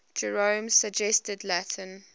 jerome's suggested latin